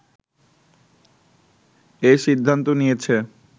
এ সিদ্ধান্ত নিয়েছে